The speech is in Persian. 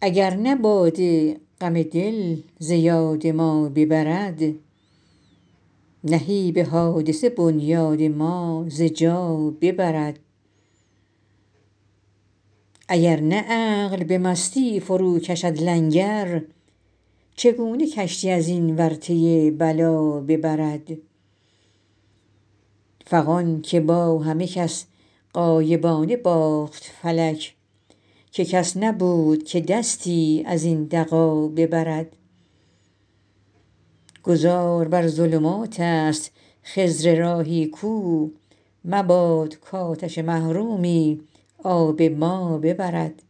اگر نه باده غم دل ز یاد ما ببرد نهیب حادثه بنیاد ما ز جا ببرد اگر نه عقل به مستی فروکشد لنگر چگونه کشتی از این ورطه بلا ببرد فغان که با همه کس غایبانه باخت فلک که کس نبود که دستی از این دغا ببرد گذار بر ظلمات است خضر راهی کو مباد کآتش محرومی آب ما ببرد